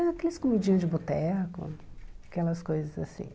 Aqueles comidinhas de boteco, aquelas coisas assim.